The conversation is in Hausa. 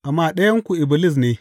Amma ɗayanku Iblis ne!